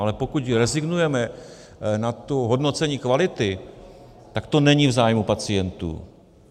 Ale pokud rezignujeme na to hodnocení kvality, tak to není v zájmu pacientů.